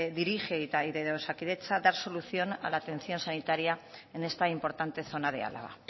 dirige y de osakidetza dar solución a la atención sanitaria en esta importante zona de álava